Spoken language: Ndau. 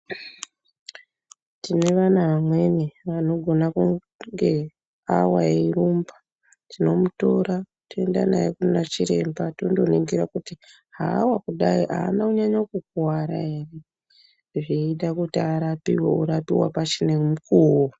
Tine vana vamweni vanogona kunge awa eirumba tinomutora toenda naye kuna chiremba tondonongira kuti haawa kudai aana kunyanya kukwara ere zveita kuti arapiwe orapiwa pachine mukuwo